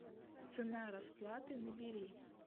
цена расплаты набери